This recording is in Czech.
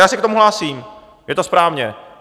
Já se k tomu hlásím, je to správně.